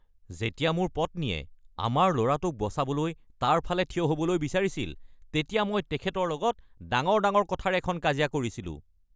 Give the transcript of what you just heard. যেতিয়া মোৰ পত্নীয়ে আমাৰ ল’ৰাটোক বচাবলৈ তাৰফালে থিয় হ’বলৈ বিচাৰিছিল তেতিয়া মই তেখেতৰ লগত ডাঙৰ ডাঙৰ কথাৰে এখন কাজিয়া কৰিছিলোঁ।